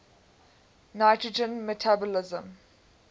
nitrogen metabolism